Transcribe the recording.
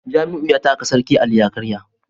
Jamiu ya taka sarkin Ali ya karya